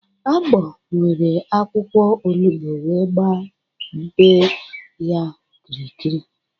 Agbo were akwụkwọ olugbo wee gbaa bee ya okirikiri.